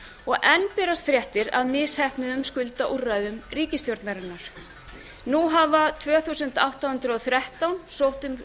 og enn berast fréttir af misheppnuðum skuldaúrræðum ríkisstjórnarinnar nú hafa tvö þúsund átta hundruð og þrettán sótt um